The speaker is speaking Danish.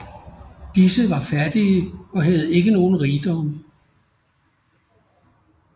Disse var fattige og havde ikke nogle rigdomme